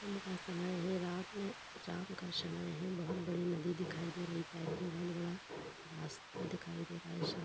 का समय है। रात में राम का समय है। बोहत बड़ी नदी दिखाई दे रही है। साइड में बहोत बड़ा रास्ता दिखाई दे रहा है। --